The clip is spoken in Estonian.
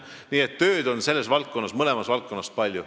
Nii et tööd on mõlemas valdkonnas palju.